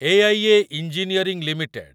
AIA engineering limited